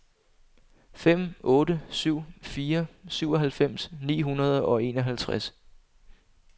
fem otte syv fire syvoghalvfems ni hundrede og enoghalvtreds